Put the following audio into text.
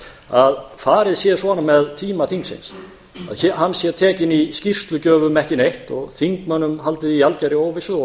að farið sé svona með tíma þingsins að hann sé tekinn í skýrslugjöf um ekki neitt og þingmönnum haldið í algjörri óvissu og